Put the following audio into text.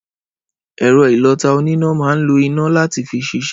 Ẹrọ ìlọtá ònìná maa ńlo ìná làtí fi ṣisẹ.